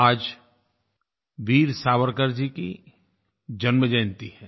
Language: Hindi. आज वीर सावरकर जी की जन्म जयन्ती है